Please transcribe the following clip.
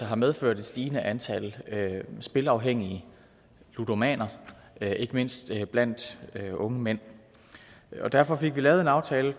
har medført et stigende antal spilleafhængige ludomaner ikke mindst blandt unge mænd derfor fik vi lavet en aftale